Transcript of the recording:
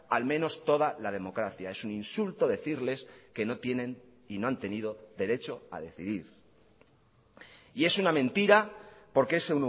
al menos toda la democracia es un insulto decirles que no tienen y no han tenido derecho a decidir y es una mentira porque es